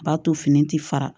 A b'a to fini ti fara